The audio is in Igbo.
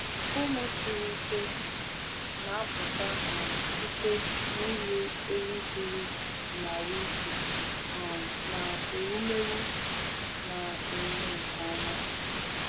Ụmụ siri ike na-apụta um site n’ịlụ ehi dịrị n’ahụ́ ike um na ewumewụ na-eme nke ọma.